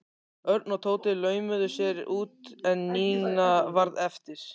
Örn og Tóti laumuðu sér út en Nína varð eftir.